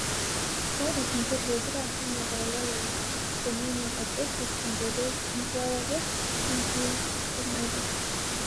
Ore nchot pokira nenap olola lenye tenenya olkesi tenkoitoi enkiroroto enkiututmore.